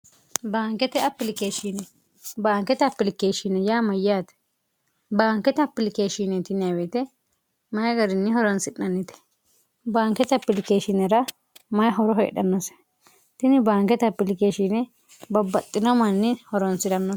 bankete sbaankete apilikeeshini yaa mayyaate baankete apilikeeshn tinwte mayi gariinni horonsi'nannite baankete apilikeeshinera mayi horo heedhannoshe tini baankete apilikeeshiini babbaxxino manni horonsi'nannoho